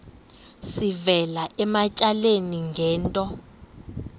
sivela ematyaleni ngento